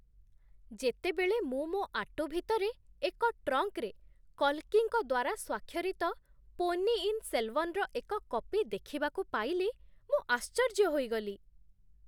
ଯେତେବେଳେ ମୁଁ ମୋ ଆଟୁ ଭିତରେ ଏକ ଟ୍ରଙ୍କରେ କଲ୍କିଙ୍କ ଦ୍ୱାରା ସ୍ୱାକ୍ଷରିତ ପୋନ୍ନିୟିନ୍ ସେଲଭାନ୍‌ର ଏକ କପି ଦେଖିବାକୁ ପାଇଲି, ମୁଁ ଆଶ୍ଚର୍ଯ୍ୟ ହୋଇଗଲି!